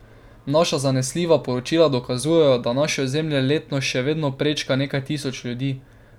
Naša zanesljiva poročila dokazujejo, da naše ozemlje letno še vedno prečka nekaj tisoč ljudi.